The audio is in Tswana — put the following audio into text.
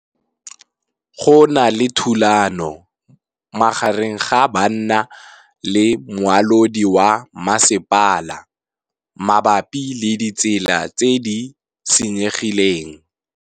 Go na le thulanô magareng ga banna le molaodi wa masepala mabapi le ditsela tse di senyegileng.